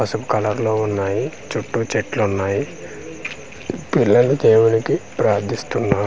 పసుపు కలర్ లో వున్నాయి చుట్టూ చెట్లున్నాయి పిల్లలు దేవునికి ప్రార్థిస్తున్నారు .]